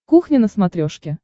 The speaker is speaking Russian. кухня на смотрешке